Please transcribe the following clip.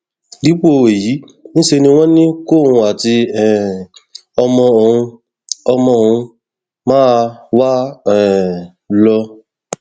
dípò èyí níṣẹ ni wọn ní kóun àti um ọmọ òun ọmọ òun máa wá um lọ